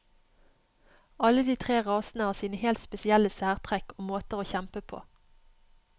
Alle de tre rasene har sine helt spesielle særtrekk og måter å kjempe på.